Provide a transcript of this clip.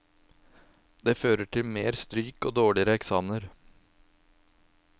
Det fører til mer stryk og dårlige eksamener.